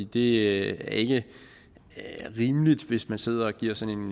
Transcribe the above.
det er ikke rimeligt hvis man sidder og giver sådan